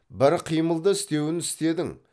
бір қимылды істеуін істедің